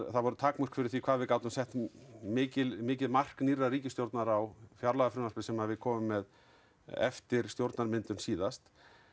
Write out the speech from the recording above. það voru takmörk fyrir því hvað við gátum sett mikil mikil mark nýrrar ríkisstjórnar á fjárlagafrumvarpið sem við komum með eftir stjórnarmyndun síðast